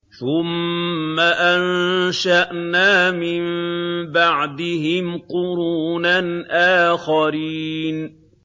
ثُمَّ أَنشَأْنَا مِن بَعْدِهِمْ قُرُونًا آخَرِينَ